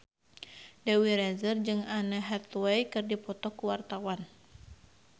Dewi Rezer jeung Anne Hathaway keur dipoto ku wartawan